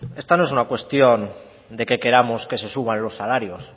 esta no es una cuestión de que queramos que se suban los salarios